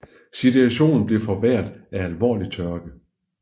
Situationen blev forværret af alvorlig tørke